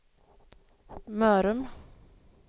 Mörrum